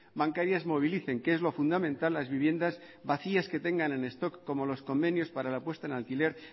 bancarias movilicen que es lo fundamental las viviendas vacías que tengan en stock como los convenios para la puesta de alquiler